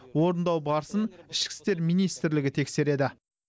орындау барысын ішкі істер министрлігі тексереді